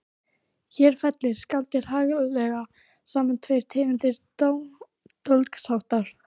Hér fellir skáldið haglega saman tvær tegundir dólgsháttar